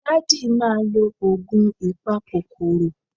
Daddy ma lo oogun ipakokoro